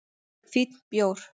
Fínn bjór